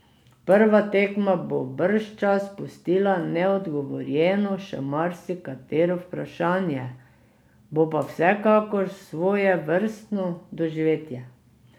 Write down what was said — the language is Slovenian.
Prva tekma bo bržčas pustila neodgovorjeno še marsikatero vprašanje, bo pa vsekakor svojevrstno doživetje.